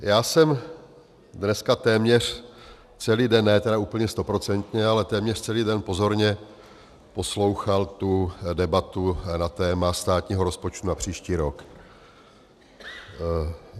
Já jsem dneska téměř celý den, ne tedy úplně stoprocentně, ale téměř celý den pozorně poslouchal tu debatu na téma státního rozpočtu na příští rok.